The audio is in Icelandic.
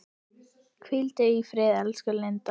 Hvíldu í friði elsku Linda.